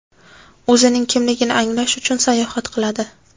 o‘zining kimligini anglash uchun sayohat qiladi.